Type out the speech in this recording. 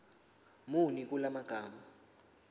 muni kula magama